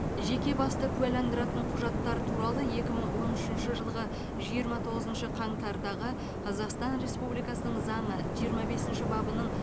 жеке басты куәландыратын құжаттар туралы екі мың он үшінші жылғы жиырма тоғызыншы қаңтардағы қазақстан республикасының заңы жиырма бесінші бабының